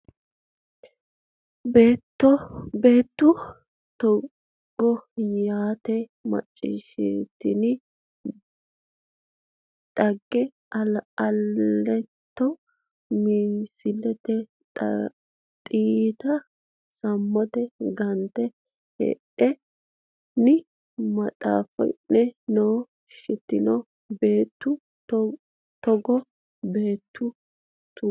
Beettu togo yiita macciishshitini dhagge Aliito massite xiyyita sammote gante hedo ne maxaafi ne noo shitino Beettu togo Beettu togo.